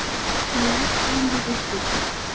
Það er ekki um að villast.